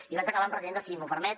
i vaig acabant presidenta si m’ho permet